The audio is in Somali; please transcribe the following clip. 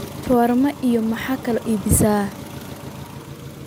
shawarma iyo maxa kale oo iibisa